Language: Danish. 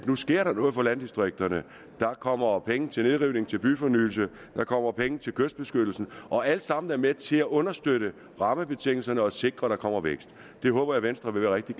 nu sker noget for landdistrikterne der kommer penge til nedrivning og til byfornyelse der kommer penge til kystbeskyttelsen og alt sammen er med til at understøtte rammebetingelserne og sikre at der kommer vækst det håber jeg venstre vil være rigtig